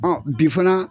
Ɔ bi fana